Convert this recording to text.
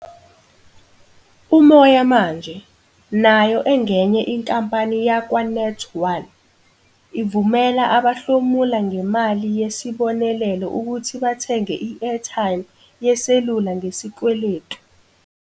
Umoya Manje, nayo engenye inkampani yakwaNet1, ivumela abahlomula ngemali yesibonelelo ukuthi bathenge i-airtime yeselula ngesikweletu.